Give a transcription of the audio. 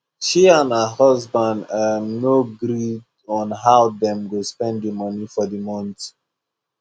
she and her husband um no gree on how dem go spend the money for the month